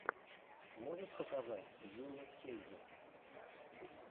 можешь показать йунесскейзет